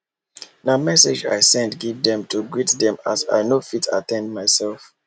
na message i send give dem to greet dem as i nor fit at ten d myself